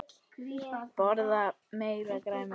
Borða meira grænt.